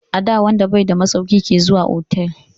Ada wanda bai da masauki ke zuwa otal.